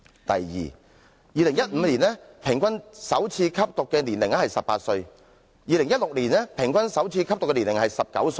第二 ，2015 年首次吸毒的平均年齡為18歲 ，2016 年首次吸毒的平均年齡為19歲......